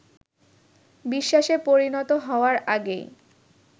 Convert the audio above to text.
বিশ্বাসে পরিণত হওয়ার আগেই